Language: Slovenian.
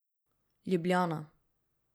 Ljubljana.